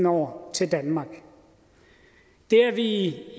år til danmark det er